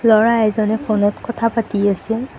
ল'ৰা এজনে ফোনত কথা পাতি আছে।